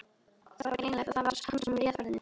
Það var greinilegt að það var hann sem réð ferðinni.